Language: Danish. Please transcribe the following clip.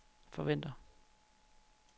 forventer